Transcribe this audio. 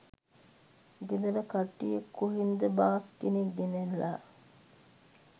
ගෙදර කට්ටිය කොහෙන් ද බාස් කෙනෙක් ගෙනැල්ල